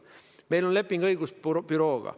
Meil on leping õigusbürooga.